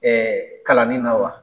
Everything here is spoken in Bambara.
kalanin na wa?